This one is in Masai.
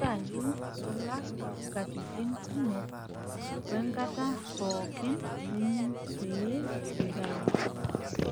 Ntayu nkulak nkatitin kumok wenkata pookin nining' pee intayu.